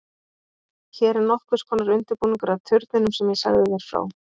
Hún er nokkurs konar undirbúningur að turninum sem ég sagði þér frá.